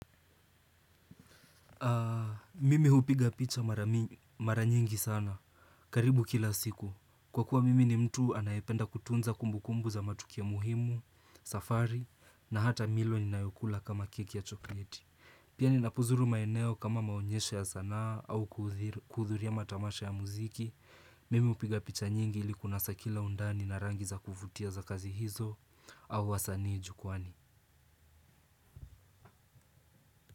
Mimi hupiga picha mara mi nyingi sana. Karibu kila siku. Kwa kuwa mimi ni mtu anayependa kutunza kumbukumbu za matukio muhimu, safari, na hata milo ninayokula kama keki ya chokoleti. Pia ninapozuru maeneo kama maonyesho ya sanaa au kuhudhuria matamasha ya muziki. Mimi hupiga picha nyingi ili kunasa kila undani na rangi za kuvutia za kazi hizo au wasanii jukwaani.